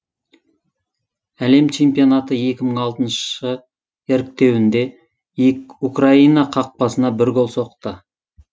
әлем чемпионаты екі мың алтыншы іріктеуінде украина қақпасына бір гол соқты